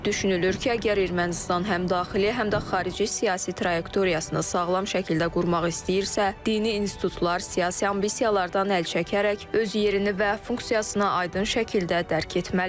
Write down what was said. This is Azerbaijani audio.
Düşünülür ki, əgər Ermənistan həm daxili, həm də xarici siyasi trayektoriyasını sağlam şəkildə qurmaq istəyirsə, dini institutlar siyasi ambisiyalardan əl çəkərək öz yerini və funksiyasına aydın şəkildə dərk etməlidir.